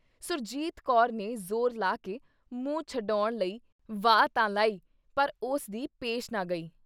ਸੁਰਜੀਤ ਕੌਰ ਨੇ ਜ਼ੋਰ ਲਾ ਕੇ ਮੂੰਹ ਛਡੌਣ ਲਈ ਵਾਹ ਤਾਂ ਲਾਈ ਪਰ ਉਸ ਦੀ ਪੇਸ਼ ਨਾ ਗਈ।